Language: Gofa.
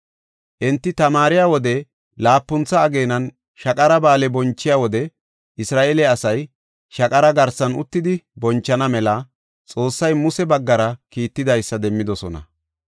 Enti tamaariya wode laapuntha ageenan Shaqara Ba7aale bonchiya wode Isra7eele asay shaqara garsan uttidi bonchana mela Xoossay Muse baggara kiitidaysa demmidosona.